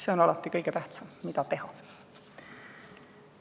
See on alati kõige tähtsam: mida teha?